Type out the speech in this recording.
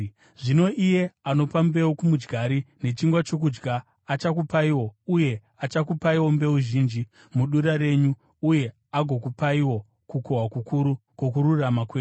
Zvino iye anopa mbeu kumudyari nechingwa chokudya achakupaiwo uye achakupaiwo mbeu zhinji mudura renyu uye agokupaiwo kukohwa kukuru kwokururama kwenyu.